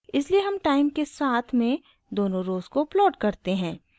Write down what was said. इसलिए हम टाइम के साथ में दोनों रोज़ को प्लॉट करते हैं